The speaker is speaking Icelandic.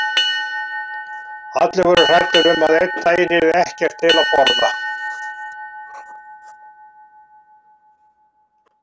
Allir voru hræddir um að einn daginn yrði ekkert til að borða.